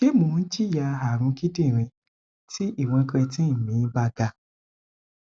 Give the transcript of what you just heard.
se mo jinya arun kidirin ti iwon creatine me ba ga